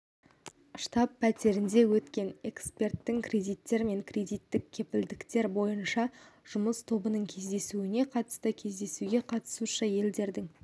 штаб-пәтерінде өткен эксперттік кредиттер мен кредиттік кепілдіктер бойынша жұмыс тобының кездесуіне қатысты кездесуге қатысушы елдерінің